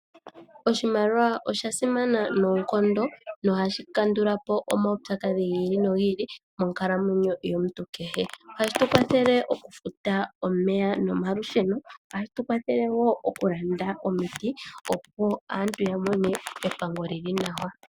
Oshimaliwa osha simana noonkondo nohashi kandulapo omaupyakadhi gi ili nogi ili monkalamwenyo yomuntu kehe. Ohashi tukwathele okufuta omeya nomalusheno. Ohashi tu kwathele wo okulanda omiti opo aantu yamone epango li li nawa.